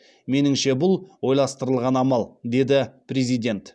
меніңше бұл ойластырылған амал деді президент